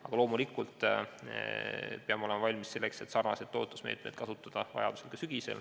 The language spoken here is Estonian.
Aga loomulikult peame olema valmis kasutama sarnaseid toetusmeetmeid vajaduse korral ka sügisel.